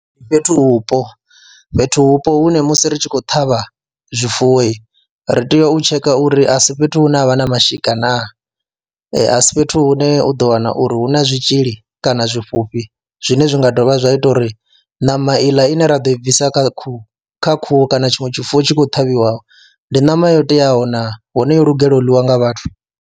Ndi fhethuvhupo, fhethuvhupo hune musi ri tshi khou ṱhavha zwifuwo ri tea u tsheka uri a si fhethu hune ha vha na mashika naa, a si fhethu hune u ḓo wana uri hu na zwitzhili ḽi kana zwi fhufhi zwine zwi nga dovha zwa ita uri ṋama iḽa ine ra ḓo i bvisa kha khuhu kha khuhu kana tshiṅwe tshifuwo tshi khou ṱhavhiwa ndi ṋama yo teaho naa, hone yo lugelwa u ḽiwa nga vhathu.